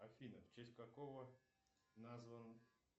афина в честь какого назван